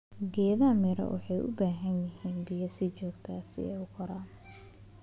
Geedaha miro waxay u baahan yihiin biyo si joogto ah si ay u koraan.